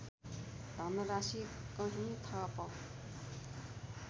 धनराशि कहीँ थप